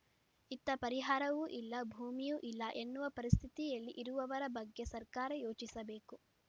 ಇತ್ತ ಪರಿಹಾರವೂ ಇಲ್ಲ ಭೂಮಿಯೂ ಇಲ್ಲ ಎನ್ನುವ ಪರಿಸ್ಥಿತಿಯಲ್ಲಿ ಇರುವವರ ಬಗ್ಗೆ ಸರ್ಕಾರ ಯೋಚಿಸಬೇಕು